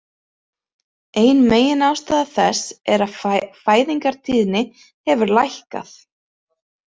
Ein meginástæða þess er að fæðingartíðni hefur lækkað.